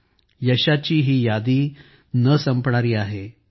या यशांची यादी ही न संपणारी आहे